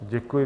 Děkuji.